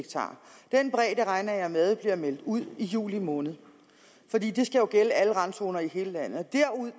den bredde regner jeg med bliver meldt ud i juli måned for det skal jo gælde alle randzoner i hele landet